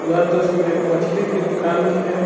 यह तस्वीर एक मछली के दुकान की है।